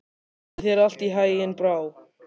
Gangi þér allt í haginn, Brá.